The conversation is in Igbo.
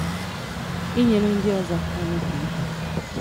Inyere ndị òzò aka n’oge mkpa.